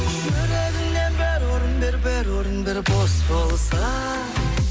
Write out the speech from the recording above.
жүрегіңнен бір орын бер бір орын бер бос болса